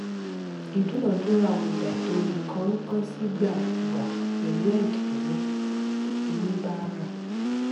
ìdúnadúrà ọjà ètò ìkónǹkansíìgbàkúgbà pẹlú ẹdínwó oníbàárà